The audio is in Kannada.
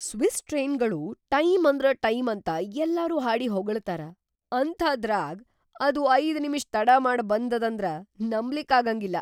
ಸ್ವಿಸ್‌ ಟ್ರೇನ್ಗಳು ಟೈಂ ಅಂದ್ರ ಟೈಂ ಅಂತ ಯಲ್ಲಾರೂ ಹಾಡಿ ಹೊಗಳ್ತಾರ ಅಂಥಾದ್ರಾಗ್ ಅದು ಐದು ನಿಮಿಷ್ ತಡಾಮಾಡ್ ಬಂದದಂದ್ರ ನಂಬ್ಲಿಕ್ಕಾಗಂಗಿಲ್ಲ.